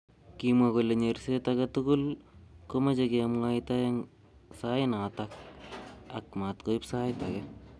Kimwankolennyerset age tugul komeche kemwaita eng sainatak ak matkoib sait age.